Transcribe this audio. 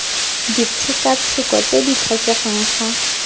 ditshekatsheko tse di tlhokegang fa